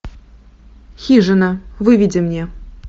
хижина выведи мне